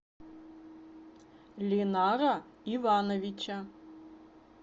линара ивановича